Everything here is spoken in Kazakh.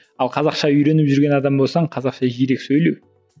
ал қазақша үйреніп жүрген адам болсаң қазақша жиірек сөйлеу